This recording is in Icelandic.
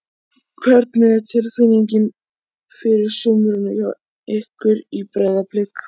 Hvernig er þín tilfinning fyrir sumrinu hjá ykkur í Breiðablik?